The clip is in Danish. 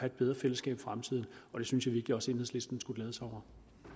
et bedre fællesskab i fremtiden og det synes jeg virkelig også enhedslisten skulle glæde sig over